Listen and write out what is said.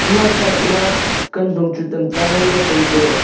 ema side ma kantong chu tam ta ngan ley tai ley.